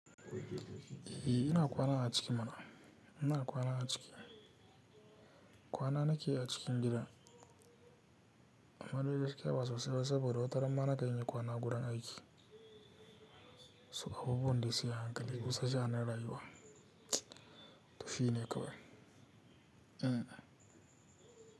Eh ina kwana a ciki mana? Ina kwana a ciki? Kwana nake yi a cikin gidan. Amma dai gaskya ɓa sosai saboda wata rana ma na kan iya kwana a wurin aiki. So abubuwan dai sai an hankali kusa ja na rayuwa. Tufi ne kawai. E.